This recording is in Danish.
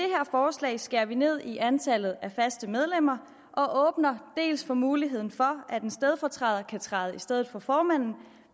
forslag skærer vi ned i antallet af faste medlemmer og åbner dels for muligheden for at en stedfortræder kan træde i stedet for formanden